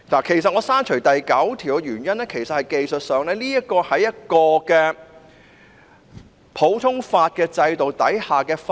其實，我刪除第9條的原因是，技術上，《條例草案》是在普通法制度下的法例。